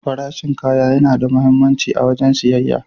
Farashin kaya yana da muhimmanci a wajen siyayya.